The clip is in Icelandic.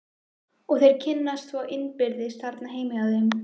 Og þeir kynnast svo innbyrðis þarna heima hjá þeim.